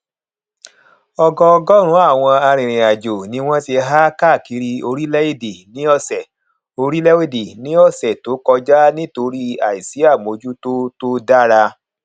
ọgọọgọrùnún àwọn arìnrìnàjò ni wọn ti há káàkiri orílẹèdè ní ọsẹ orílẹèdè ní ọsẹ tó kọjá nítorí àìsí àmójútó tó dára